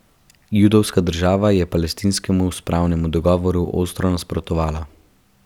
Judovska država je palestinskemu spravnemu dogovoru ostro nasprotovala.